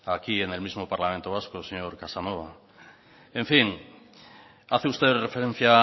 aquí en el mismo parlamento vasco señor casanova en fin hace usted referencia